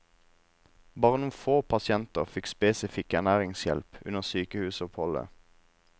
Bare noen få pasienter fikk spesifikk ernæringshjelp under sykehusoppholdet.